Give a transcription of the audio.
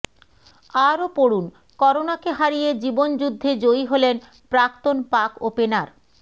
আরও পড়ুনঃকরোনাকে হারিয়ে জীবন যুদ্ধে জয়ী হলেন প্রাক্তন পাক ওপেনার